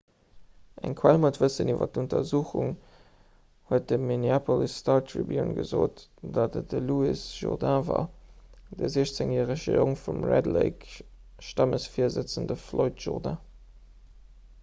eng quell mat wëssen iwwer d'untersuchung huet dem minneapolis star tribune gesot datt et de louis jourdain war de 16-järege jong vum 'red lake'-stammesvirsëtzende floyd jourdain